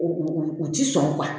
U ti sɔn